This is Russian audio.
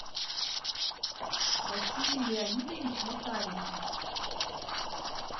василий леонидович макаренков